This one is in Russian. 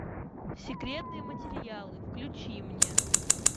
секретные материалы включи мне